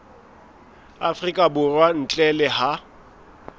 afrika borwa ntle le ha